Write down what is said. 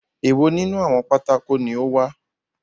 Èwo nínú àwọn pátákó ni ó wà?